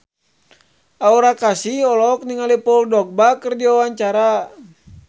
Aura Kasih olohok ningali Paul Dogba keur diwawancara